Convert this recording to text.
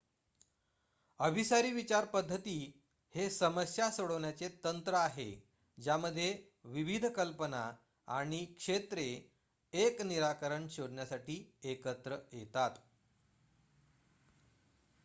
अभिसारी विचार पद्धती हे समस्या सोडवण्याचे तंत्र आहे ज्यामध्ये विविध कल्पना किंवा क्षेत्रे एक निराकरण शोधण्यासाठी एकत्र येतात